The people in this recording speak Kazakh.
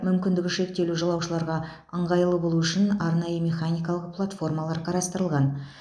мүмкіндігі шектеулі жолаушыларға ыңғайлы болу үшін арнайы механикалық платформалар қарастырылған